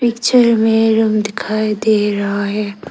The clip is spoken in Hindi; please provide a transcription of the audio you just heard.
पिक्चर में रूम दिखाई दे रहा है।